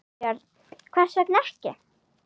Björn: Hvers vegna ekki?